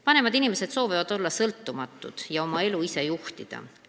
Vanemad inimesed soovivad olla sõltumatud ja oma elu ise juhtida.